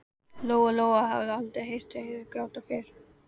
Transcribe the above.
Lóa-Lóa hafði aldrei heyrt Heiðu gráta fyrr.